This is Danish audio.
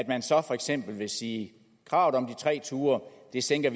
man så for eksempel sige at kravet om tre ture sænker